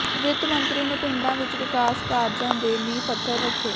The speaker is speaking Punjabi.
ਵਿੱਤ ਮੰਤਰੀ ਨੇ ਪਿੰਡਾਂ ਵਿਚ ਵਿਕਾਸ ਕਾਰਜਾਂ ਦੇ ਨੀਂਹ ਪੱਥਰ ਰੱਖੇ